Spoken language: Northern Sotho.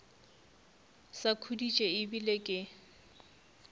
sa khuditše e bile ke